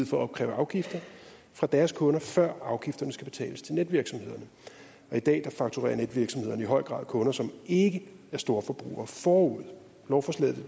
for at opkræve afgifter fra deres kunder før afgifterne skal betales til netvirksomhederne i dag fakturerer netvirksomhederne i høj grad kunder som ikke er storforbrugere forud lovforslaget